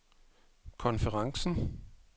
konferencen